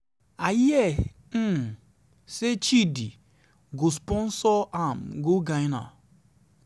i hear um say chudi go say chudi go sponsor am for ghana um.